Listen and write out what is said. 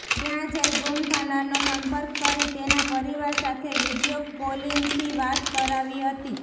ત્યાં જઇ ગુમ થનારનો સંપર્ક કરી તેના પરિવાર સાથે વિડીઓ કોલીંગથી વાત કરાવી હતી